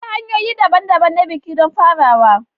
Akwai hanyoyi daban-daban na biki don farawa.